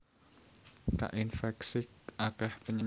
Kainfèksi akèh penyakit